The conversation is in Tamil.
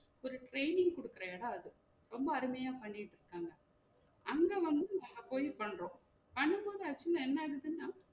ஒரு training குடுக்குற எடம் அது ரொம்ப அருமையா பண்ணிட்டு இருக்காங்க அங்க வந்து நம்ம போயி பண்றோம் பண்ணும்போது actually என்ன ஆயிடுச்சுனா